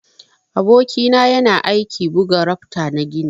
Aboki na yana aiki buga rafta na gini.